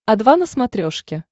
о два на смотрешке